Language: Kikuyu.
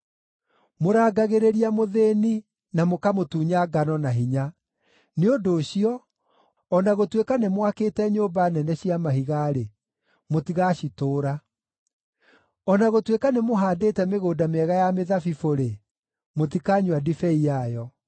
Mũrangagĩrĩria mũthĩĩni, na mũkamũtunya ngano na hinya. Nĩ ũndũ ũcio, o na gũtuĩka nĩmwakĩte nyũmba nene cia mahiga-rĩ, mũtigacitũũra; o na gũtuĩka nĩmũhaandĩte mĩgũnda mĩega ya mĩthabibũ-rĩ, mũtikanyua ndibei yayo.